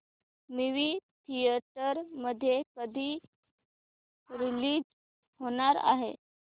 movie theatre मध्ये कधी release होणार आहे